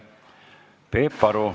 Peep Aru.